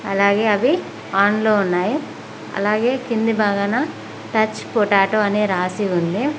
అలాగే అవి ఆన్ లో ఉన్నాయి అలాగే కింది భాగాన టచ్ పొటాటో అని రాసి ఉంది.